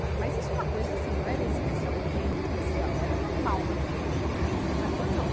Né, mas isso é uma coisa assim, não era especialmente especial, era normal na vida da gente. Mas quando eu, eu